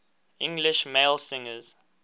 english male singers